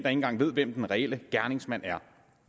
engang ved hvem den reelle gerningsmand er